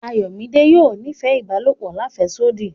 Ayọ̀midé yóò nífẹ̀ ibàlọpò làféṣodí.